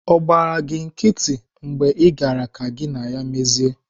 Ọ gbaara gị nkịtị mgbe Ị gaara ka gị na ya mezie?